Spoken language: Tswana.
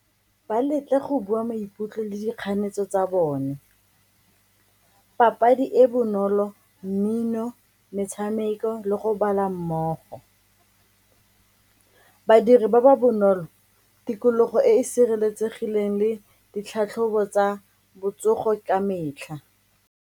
Ba letle go bua maikutlo le dikganetso tsa bone, papadi e bonolo mmino, metshameko le go bala mmogo. Badiri ba ba bonolo, tikologo e e sireletsegileng le ditlhatlhobo tsa botsogo ka metlha.